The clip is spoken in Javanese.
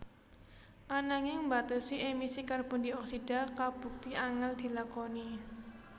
Ananging mbatesi emisi karbon dioksida kabukti angèl dilakoni